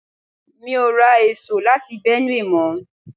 Mi ò ra èso láti Benue mọ̀ ọ.